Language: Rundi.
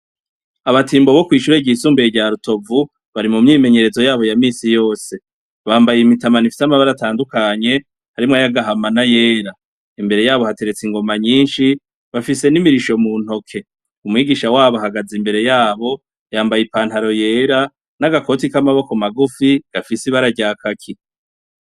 Abatimbo bo kwishure ryisumbuye rya Rutovu bari mumyimenyerezo yabo yaminsi yose. Bambaye imitamana ifise amabara atandukanye, harimwo ayagahama n'ayera. Imbere yabo, hateretse ingoma nyinshi, bafise n'imirisho mu ntoke. Umwigisha wabo ahagaze imbere yaho, yambaye ipantaro yera n'agakoti k'amaboko magufi gafise ibara ryakaki.